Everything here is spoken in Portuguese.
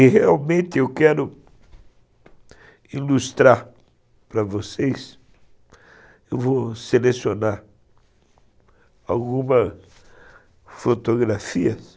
E realmente eu quero ilustrar para vocês, eu vou selecionar algumas fotografias